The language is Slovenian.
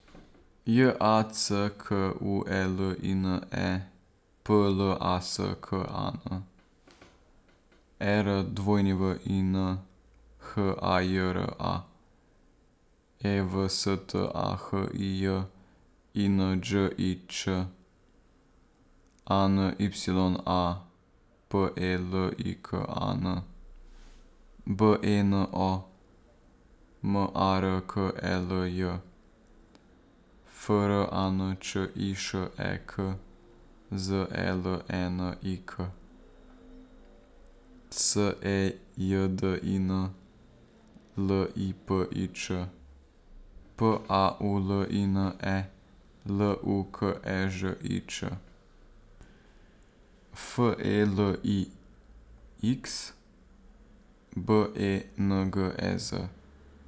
J A C K U E L I N E, P L A S K A N; E R W I N, H A J R A; E V S T A H I J, I N Đ I Ć; A N Y A, P E L I K A N; B E N O, M A R K E L J; F R A N Č I Š E K, Z E L E N I K; S E J D I N, L I P I Č; P A U L I N E, L U K E Ž I Č; F E L I X, B E N G E Z.